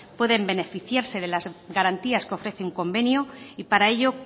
puedan beneficiarse de las garantías que ofrece un convenio para ello